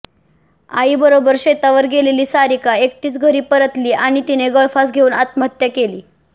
आईबरोबर शेतावर गेलेली सारिका एकटीच घरी परतली आणि तिने गळफास घेऊन आत्महत्या केली